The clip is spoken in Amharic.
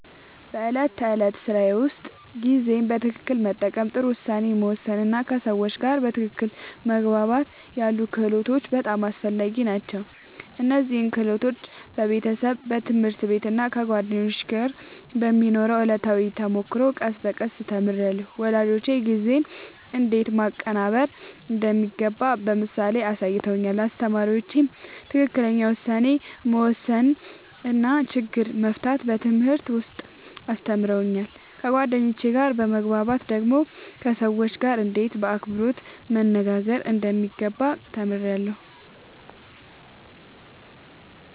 በዕለት ተዕለት ሥራዬ ውስጥ ጊዜን በትክክል መጠቀም፣ ጥሩ ውሳኔ መወሰን እና ከሰዎች ጋር በትክክል መግባባት ያሉ ክህሎቶች በጣም አስፈላጊ ናቸው። እነዚህን ክህሎቶች በቤተሰብ፣ በትምህርት ቤት እና ከጓደኞች ጋር በሚኖረው ዕለታዊ ተሞክሮ ቀስ በቀስ ተምሬያለሁ። ወላጆቼ ጊዜን እንዴት ማቀናበር እንደሚገባ በምሳሌ አሳይተውኛል፣ አስተማሪዎቼም ትክክለኛ ውሳኔ መወሰን እና ችግር መፍታት በትምህርት ውስጥ አስተምረውኛል። ከጓደኞቼ ጋር በመግባባት ደግሞ ከሰዎች ጋርእንዴት በአክብሮት መነጋገር እንደሚገባ ተምሬያለሁ።